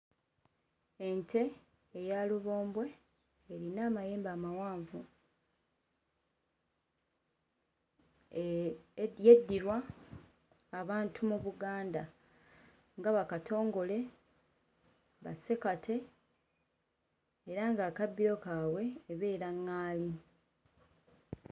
Ente eya lubombwe eyina amayembe amawanvu eeh eh yeddirwa abantu mu Buganda nga, ba Katongole, ba Ssekate era nga akabbiro kaabwe ebeera ŋŋaali.